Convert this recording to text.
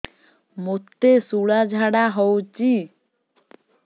ମୋତେ ଶୂଳା ଝାଡ଼ା ହଉଚି